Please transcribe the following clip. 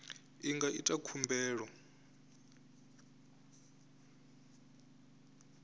a nga ḓi ita khumbelo